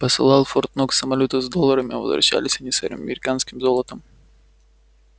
посылал в форт-нокс самолёты с долларами а возвращались они с американским золотом